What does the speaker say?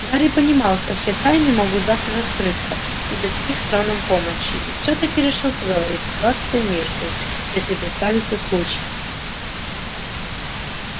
гарри понимал что все тайны могут завтра раскрыться и без их с роном помощи и всё-таки решил поговорить с плаксой миртл если представится случай